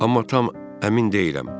amma tam əmin deyiləm.